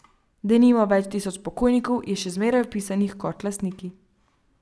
Denimo več tisoč pokojnikov je še zmeraj vpisanih kot lastniki.